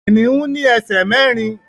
Kìnnìún ní ẹsẹ̀ mẹ́rin